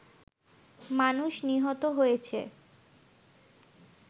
মানুষ নিহত হয়েছে